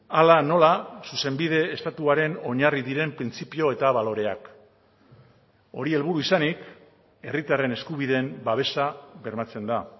hala nola zuzenbide estatuaren oinarri diren printzipio eta baloreak hori helburu izanik herritarren eskubideen babesa bermatzen da